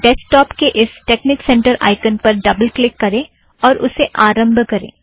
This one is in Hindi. डैस्कटौप के इस टेकनिक सेंटर आइकन पर डबल क्लिक करें और उसे आरम्भ करें